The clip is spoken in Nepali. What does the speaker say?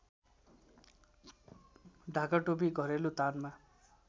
ढाकाटोपी घरेलु तानमा